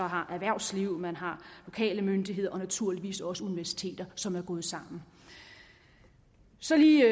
har erhvervsliv man har lokale myndigheder og naturligvis også universiteter som er gået sammen så lige